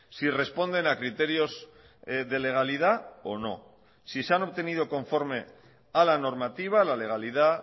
si responden a criterios de legalidad o no si se han obtenido conforme a la normativa a la legalidad